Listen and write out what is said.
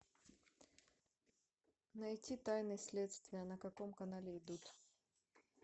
найти тайны следствия на каком канале идут